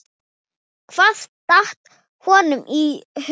Hvað datt honum í hug?